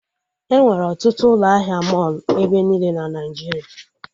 Enwere ọtụtụ ụlọ ahịa mọlụ ebe niile na Naijiria